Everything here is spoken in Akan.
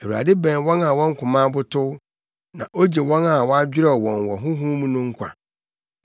Awurade bɛn wɔn a wɔn koma abotow na ogye wɔn a wɔadwerɛw wɔn wɔ honhom mu no nkwa.